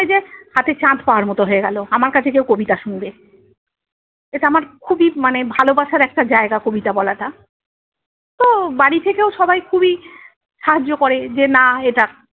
হাতে চাঁদ পাওয়ার মতো হয়ে গেলো আমার কাছে কেও কবিতা শুনবে। এটা আমার খুবই মানে ভালোবাসার একটা জায়গা কবিতা বলাটা। তো বাড়ি থেকেও সবাই খুবই সাহায্য করে যে না এটা-